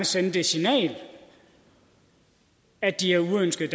sende det signal at de er uønskede